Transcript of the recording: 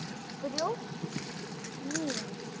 Brjóst mín.